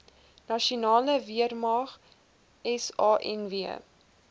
nasionale weermag sanw